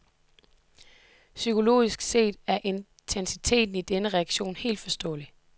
Psykologisk set er intensiteten i denne reaktion helt forståelig.